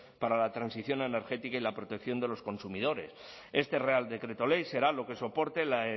para la transición energética y la protección de los consumidores este real decreto ley será lo que soporte la